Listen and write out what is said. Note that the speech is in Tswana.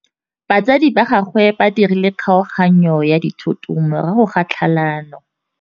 Batsadi ba gagwe ba dirile kgaoganyô ya dithoto morago ga tlhalanô.